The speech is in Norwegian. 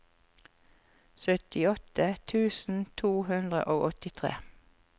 syttiåtte tusen to hundre og åttitre